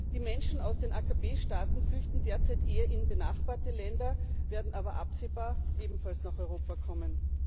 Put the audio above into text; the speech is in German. Die Menschen aus den AKP Staaten flüchten derzeit eher in benachbarte Länder, werden aber absehbar ebenfalls nach Europa kommen.